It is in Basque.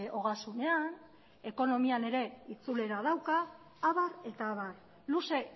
ogasunean ekonomian ere itzulera dauka abar eta abar luze